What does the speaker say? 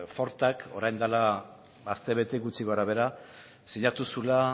fortak orain dela astebete gutxi gora bera sinatu zuela